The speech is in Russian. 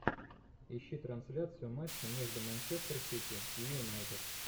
ищи трансляцию матча между манчестер сити и юнайтед